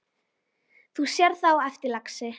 Þú sérð það á eftir, lagsi.